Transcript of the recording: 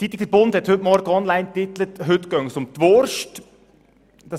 Die Zeitung «Der Bund» titelte heute online, dass es heute um die Wurst gehe.